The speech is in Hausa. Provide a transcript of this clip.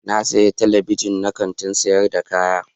Na siya Telebijin na Kantin sayar da kaya.